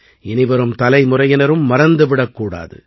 இனிவரும் தலைமுறையினரும் மறந்து விடக்கூடாது